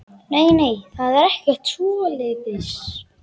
Nei, nei, það er ekkert svoleiðis.